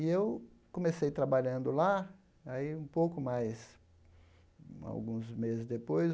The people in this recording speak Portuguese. E eu comecei trabalhando lá, aí um pouco mais, alguns meses depois,